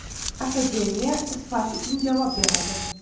Akademiya sifat uchun javob beradi.